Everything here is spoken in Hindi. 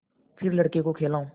फिर लड़के को खेलाऊँ